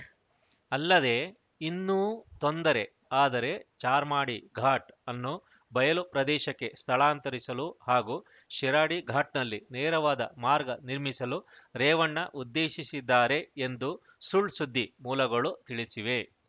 ಅಲ್ಲದೇ ಇನ್ನೂ ತೊಂದರೆ ಆದರೆ ಚಾರ್ಮಾಡಿ ಘಾಟ್‌ ಅನ್ನು ಬಯಲು ಪ್ರದೇಶಕ್ಕೆ ಸ್ಥಳಾಂತರಿಸಲು ಹಾಗೂ ಶಿರಾಡಿ ಘಾಟ್‌ನಲ್ಲಿ ನೇರವಾದ ಮಾರ್ಗ ನಿರ್ಮಿಸಲು ರೇವಣ್ಣ ಉದ್ದೇಶಿಸಿದ್ದಾರೆ ಎಂದು ಸುಳ್‌ಸುದ್ದಿ ಮೂಲಗಳು ತಿಳಿಸಿವೆ